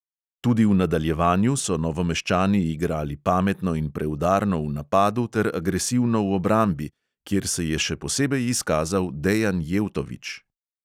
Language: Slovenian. Tudi v nadaljevanju so novomeščani igrali pametno in preudarno v napadu ter agresivno v obrambi, kjer se je še posebej izkazal dejan jevtović.